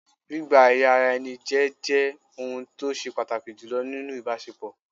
Gbígba ẹ̀rí ara ẹni jẹ́ jẹ́ ohun tó ṣe pàtàkì jùlọ nínú ìbásepọ̀